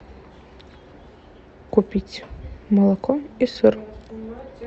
купить молоко и сыр